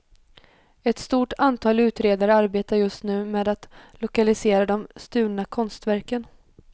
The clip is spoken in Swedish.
Ett stort antal utredare arbetar just nu med att lokalisera de stulna konstverken.